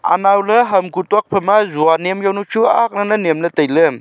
anow ley ham kuk tokphai ma jua nyem jawnu chu aak lal a nyem ley tailey.